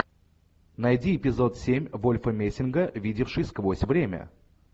найди эпизод семь вольфа мессинга видевший сквозь время